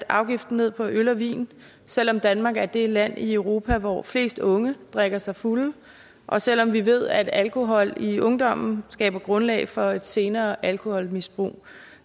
afgiften ned på øl og vin selv om danmark er det land i europa hvor flest unge drikker sig fulde og selv om vi ved at alkohol i ungdommen skaber grundlag for et senere alkoholmisbrug